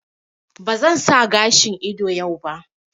Ba zan sa gashin ido yau ba